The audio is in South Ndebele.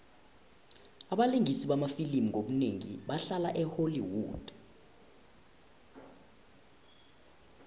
abalingisi bamafilimu ngobunengi bahlala e holly wood